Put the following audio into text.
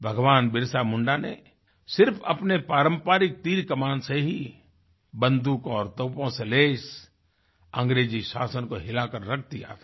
भगवानबिरसा मुंडा ने सिर्फ अपने पारंपरिक तीरकमान से ही बंदूकों और तोपों से लैस अंग्रेजी शासन को हिलाकर रख दिया था